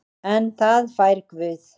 En það fær Guð.